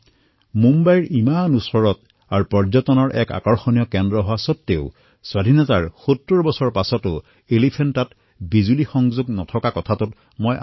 মই এই কথা গম পাই স্তম্ভিত হলো যে মুম্বাইৰ ইমান কাষত পৰ্যটনৰ এনেকুৱা ডাঙৰ কেন্দ্ৰ থকা স্বত্বেও স্বাধীনতাৰ ইমান বৰ্ষৰ বিছতো বিজুলী নাছিল